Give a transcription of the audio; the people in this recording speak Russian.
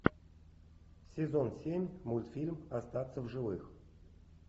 сезон семь мультфильм остаться в живых